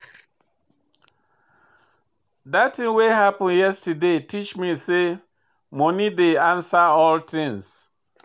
Dat tin wey happen yesterday teach me sey moni dey answer all tins.